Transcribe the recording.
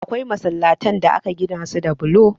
Akwai masallatan da aka gina su da bulo.